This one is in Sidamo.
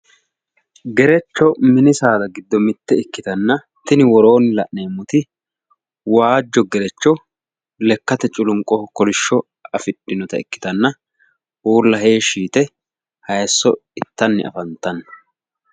Gerecho mini saada giddo mitte ikkitanna, tini worroonni la'neemmoti waajo gerecho lekkate culunwoho kolishshso afii'dhinota ikkitanna uulla heeshshi yite hayiiso itanni afantanno.